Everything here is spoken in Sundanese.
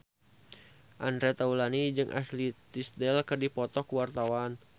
Andre Taulany jeung Ashley Tisdale keur dipoto ku wartawan